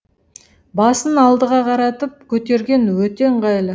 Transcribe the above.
басын алдыға қаратып көтерген өте ыңғайлы